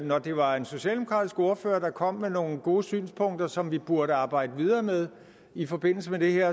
når det var en socialdemokratisk ordfører der kom med nogle gode synspunkter som vi burde arbejde videre med i forbindelse med det her